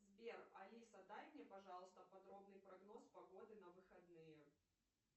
сбер алиса дай мне пожалуйста подробный прогноз погоды на выходные